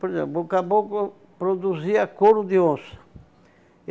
Por exemplo, o caboclo produzia couro de onça.